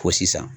Fo sisan